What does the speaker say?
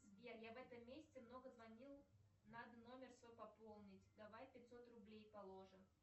сбер я в этом месяце много звонил надо номер свой пополнить давай пятьсот рублей положим